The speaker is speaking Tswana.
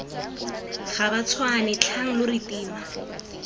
gabatshwane tlhang lo re tima